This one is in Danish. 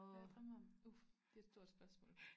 Hvad jeg drømmer om uh det et stort spørgsmål